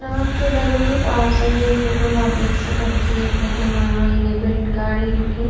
नमस्ते दगडियों तो आप सभी ये फोटो मा देख सकन की ये फोटो मा आगने बीटिन गाडी रुकीं।